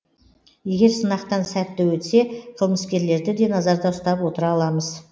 егер сынақтан сәтті өтсе қылмыскерлерді де назарда ұстап отыра аламыз